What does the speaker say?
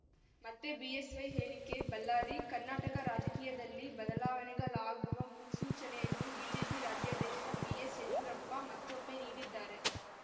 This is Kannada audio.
ಮತ್ತೆ ಬಿಎಸ್‌ವೈ ಹೇಳಿಕೆ ಬಳ್ಳಾರಿ ಕರ್ನಾಟಕ ರಾಜಕೀಯದಲ್ಲಿ ಬದಲಾವಣೆಗಳಾಗುವ ಮುನ್ಸೂಚನೆಯನ್ನು ಬಿಜೆಪಿ ರಾಜ್ಯಾಧ್ಯಕ್ಷ ಬಿಎಸ್‌ಯಡಿಯೂರಪ್ಪ ಮತ್ತೊಮ್ಮೆ ನೀಡಿದ್ದಾರೆ